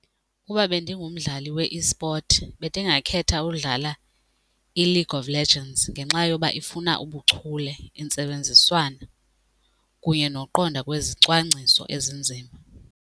Ukuba bendingumdlali we-esport bendingakhetha ukudlala iLague of Legends ngenxa yoba ifuna ubuchule, intsebenziswano kunye nokuqonda kwezicwangciso ezinzima.